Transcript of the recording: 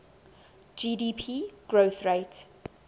gdp growth rate